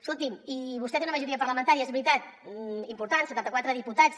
escolti’m i vostè té una majoria parlamentària és veritat important setanta quatre diputats